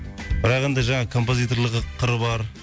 бірақ енді жаңағы композиторлығы қыры бар